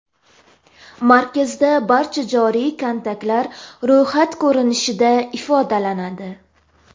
Markazda barcha joriy kontaktlar ro‘yxat ko‘rinishida ifodalanadi.